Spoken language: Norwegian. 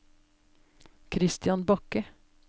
Kristian Bakke